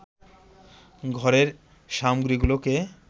ঘরের সামগ্রীগুলোকে